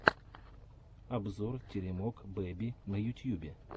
обзор теремок бэби на ютьюбе